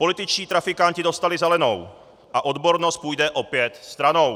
Političtí trafikanti dostali zelenou a odbornost půjde opět stranou.